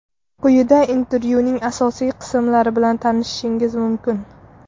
Quyida intervyuning asosiy qismlari bilan tanishishingiz mumkin.